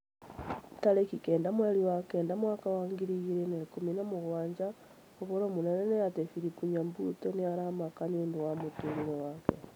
Tarĩki kenda mweri wa kenda mwaka wa ngiri igĩrĩ na ikũmi na mũgwanja ũhoro mũnene nĩ ati philip nyabuto nĩ aramaka nĩũndũ wa mũtũrĩre wake